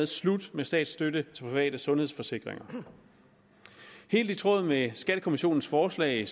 slut med statsstøtte til private sundhedsforsikringer helt i tråd med skattekommissionens forslag